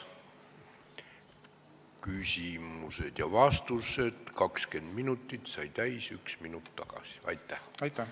Küsimusteks ja vastusteks ettenähtud 20 minutit sai täis üks minut tagasi.